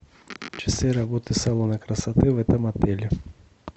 часы работы салона красоты в этом отеле